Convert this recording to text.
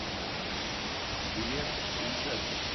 билет инжектор